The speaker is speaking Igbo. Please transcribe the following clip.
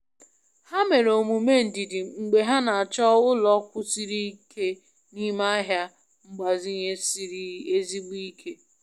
Ha mere omume ndidi mgbe ha na-achọ ụlọ kwụsiri ike n'ime ahịa mgbazinye siri ezigbote ike.